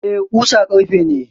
Eh, ƙusa ƙarfe ne.